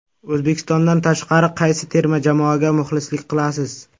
O‘zbekistondan tashqari qaysi terma jamoaga muxlislik qilasiz?